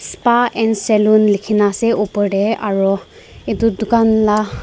S_P_A and salon likina ase opor dae aro etu tucan la.